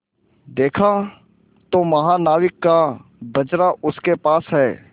देखा तो महानाविक का बजरा उसके पास है